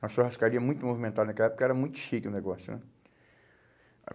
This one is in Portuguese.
Uma churrascaria muito movimentada naquela época, era muito chique o negócio, né?